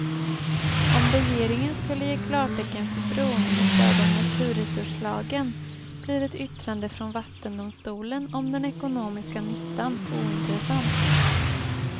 Om regeringen skulle ge klartecken för bron med stöd av naturresurslagen blir ett yttrande från vattendomstolen om den ekonomiska nyttan ointressant.